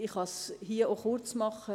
Ich kann mich hier auch kurzfassen.